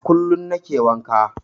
Kullum nake wanka.